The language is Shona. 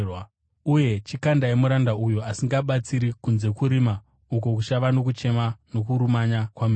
Uye chikandai muranda uyo asingabatsiri kunze kurima, uko kuchava nokuchema nokurumanya kwameno.’